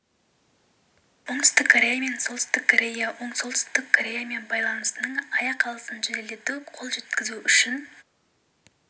оңтүстік корея мен солтүстік корея солтүстік корея мен байланысының аяқ алысын жеделдетуге қол жеткізу үшін